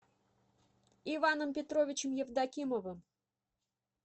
иваном петровичем евдокимовым